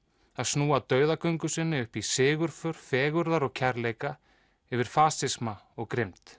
að snúa dauðagöngu sinni upp í sigurför fegurðar og kærleika yfir fasisma og grimmd